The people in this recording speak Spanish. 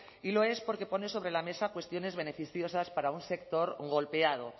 y lo es porque pone sobre la mesa cuestiones beneficiosas para un sector golpeado